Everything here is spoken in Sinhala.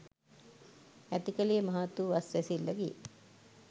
ඇතිකළේ මහත්වූ අස්වැසිල්ලකි.